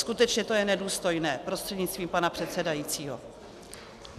Skutečně to je nedůstojné, prostřednictvím pana předsedajícího.